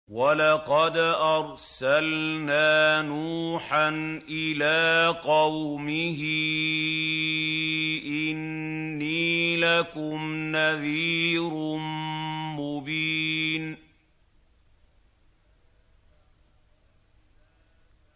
وَلَقَدْ أَرْسَلْنَا نُوحًا إِلَىٰ قَوْمِهِ إِنِّي لَكُمْ نَذِيرٌ مُّبِينٌ